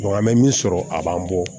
an bɛ min sɔrɔ a b'an bɔ